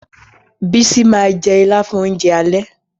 Bísí ma jẹ́ Ìlá fún oúnjẹ alẹ́